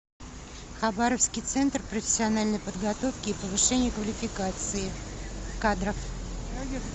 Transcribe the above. хабаровский центр профессиональной подготовки и повышения квалификации кадров